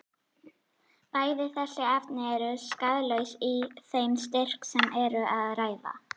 Bæði þessi efni eru skaðlaus í þeim styrk sem um er að ræða.